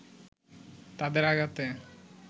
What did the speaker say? তাদের আঘাতে